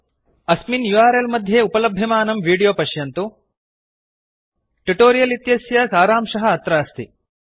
अस्मिन् यूआरएल मध्ये लभ्यमानं विडियो पश्यन्तु httpspoken tutorialorgWhat is a spoken tutorial tutorial इत्यस्य सारांशः अत्र अस्ति